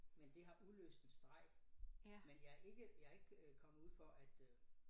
Men det har udløst en streg men jeg ikke jeg ikke øh kommet ud for øh